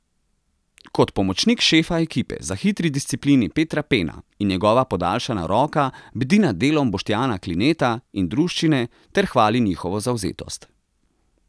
Kot pomočnik šefa ekipe za hitri disciplini Petra Pena in njegova podaljšana roka bdi nad delom Boštjana Klineta in druščine ter hvali njihovo zavzetost.